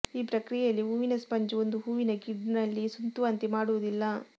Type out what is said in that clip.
ಈ ಪ್ರಕ್ರಿಯೆಯಲ್ಲಿ ಹೂವಿನ ಸ್ಪಂಜು ಒಂದು ಹೂವಿನ ಗ್ರಿಡ್ನಲ್ಲಿ ಸುತ್ತುವಂತೆ ಮಾಡುವುದಿಲ್ಲ